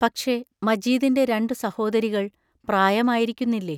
പക്ഷേ, മജീദിന്റെ രണ്ടു സഹോദരികൾ പ്രായമായിരിക്കുന്നില്ലേ?